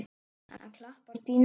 Hann klappar á dýnuna.